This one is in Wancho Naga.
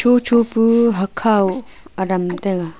tho tho hakhow adam taiga.